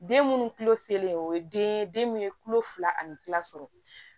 Den munnu o ye den ye den min ye kulo fila ani kila sɔrɔ